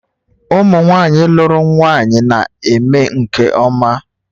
Ụmụ nwanyị lụrụ nwanyị na-eme nke ọma